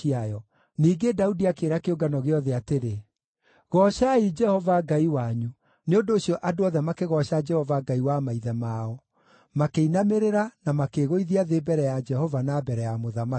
Ningĩ Daudi akĩĩra kĩũngano gĩothe atĩrĩ, “Goocai Jehova Ngai wanyu.” Nĩ ũndũ ũcio andũ othe makĩgooca Jehova Ngai wa maithe mao; makĩinamĩrĩra, na makĩĩgũithia thĩ mbere ya Jehova na mbere ya mũthamaki.